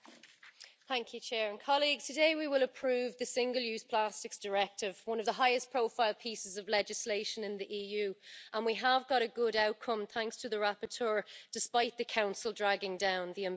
Mr President, today we will approve the Single Use Plastics Directive, one of the highest profile pieces of legislation in the EU, and we have a good outcome thanks to the rapporteur, despite the Council dragging down the ambition.